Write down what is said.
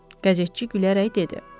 Qəzetçi gülərək dedi.